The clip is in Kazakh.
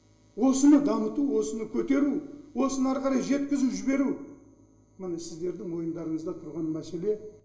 осыны дамыту осыны көтеру осыны ары қарай жеткізу жіберу міне сіздердің мойындарыңызда тұрған мәселе